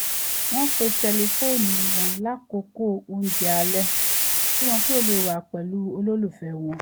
wọ́n pa tẹlifóònù wọn lákòókò oúnjẹ alẹ́ kí wọ́n lè wà pẹ̀lú àwọn olólùfẹ́ wọn